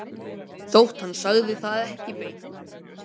Þótt hann segði það ekki beint,